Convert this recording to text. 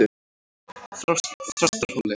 Þrastarhóli